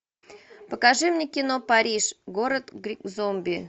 покажи мне кино париж город зомби